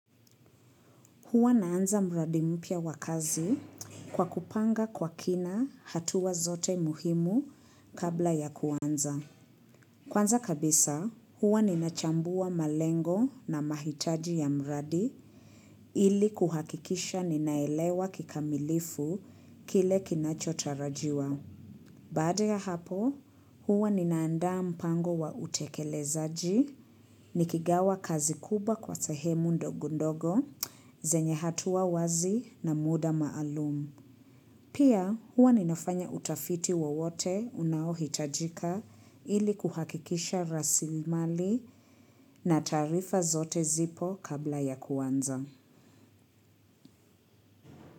Huwa naanza mradi mpya wa kazi kwa kupanga kwa kina hatua zote muhimu kabla ya kuanza. Kwanza kabisa, huwa ninachambua malengo na mahitaji ya mradi ili kuhakikisha ninaelewa kikamilifu kile kinacho tarajiwa. Baada ya hapo, huwa ninaanda mpango wa utekelezaji, nikigawa kazi kubwa kwa sehemu ndogondogo, zenye hatua wazi na muda maalumu. Pia huwa ninafanya utafiti wowote unaohitajika ili kuhakikisha rasilimali na taarifa zote zipo kabla ya kuanza.